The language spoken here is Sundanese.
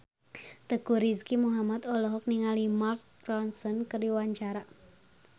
Teuku Rizky Muhammad olohok ningali Mark Ronson keur diwawancara